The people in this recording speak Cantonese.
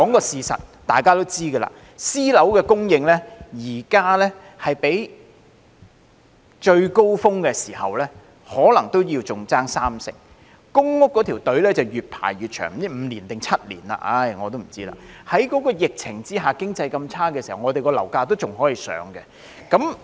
事實是大家也知道，私樓供應現時比起最高峰時期可能仍差三成，輪候公屋的隊伍越排越長——輪候時間是5年或7年，我已不知道了——在疫情下，經濟這麼差的時候，我們的樓價卻仍然向上升。